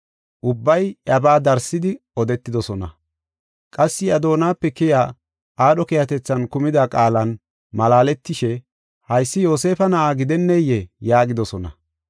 Ubbay iyabaa darsidi odetoosona. Qassi iya doonape keyiya aadho keehatethan kumida qaalan malaaletishe, “Haysi Yoosefa na7aa gidenneyee?” yaagidosona.